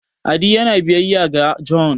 adi yana biyayya ga John